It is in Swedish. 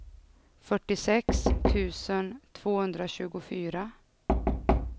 fyrtiosex tusen tvåhundratjugofyra